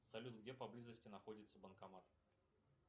салют где поблизости находится банкомат